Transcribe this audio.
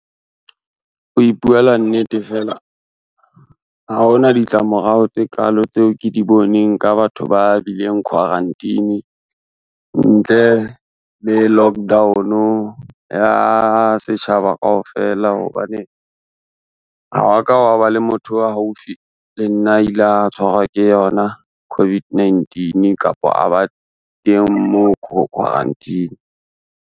Ho ipuela nnete fela, ha hona ditlamorao tse kalo tseo ke di boneng ka batho ba bileng quarantine, ntle le lockdown ya setjhaba kaofela hobane, ha wa ka hwa ba le motho a haufi le nna a ile a tshwarwa ke yona COVID-19 kapa a ba teng moo quarantine.